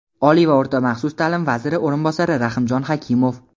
Oliy va o‘rta maxsus ta’lim vaziri o‘rinbosari Rahimjon Xakimov.